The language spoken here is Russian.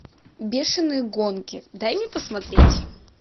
бешеные гонки дай мне посмотреть